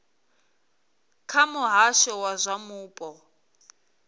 kha muhasho wa zwa mupo